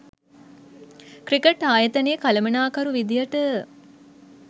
cricket ආයතනයේ කළමනාකරු විදියට